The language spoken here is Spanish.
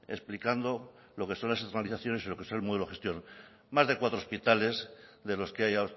explicando lo que son esas matizaciones y lo que es el modelo gestión más de cuatro hospitales de los que hay